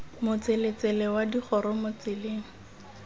motseletsele wa digoro mo tseleng